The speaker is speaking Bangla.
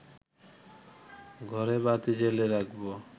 ঘরে বাতি জ্বেলে রাখব